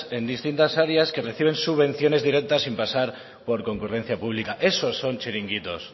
en distintas áreas que perciben subvenciones directas sin pasar por concurrencia pública eso son chiringuitos